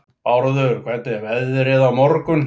Bárður, hvernig er veðrið á morgun?